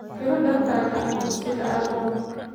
Xiro dharkaaga aan dugsiga aadno